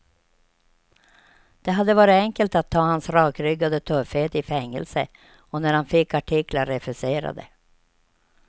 Det hade varit enkelt att ta hans rakryggade tuffhet i fängelse och när han fick artiklar refuserade.